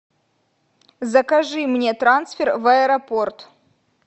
закажи мне трансфер в аэропорт